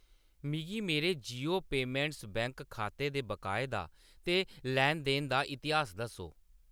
मिगी मेरे Jio payments bank खाते दे बकाए दा ते लैन-देन दा इतिहास दस्सो।